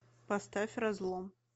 поставь разлом